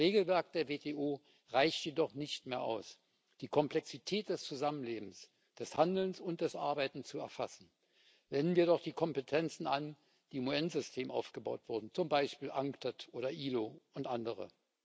Das Regelwerk der WTO reicht jedoch nicht mehr aus, die Komplexität des Zusammenlebens, des Handelns und des Arbeitens zu erfassen. Wenden wir doch die Kompetenzen an, die im UN System aufgebaut wurden, zum Beispiel bei der Unctad, der IAO und anderen.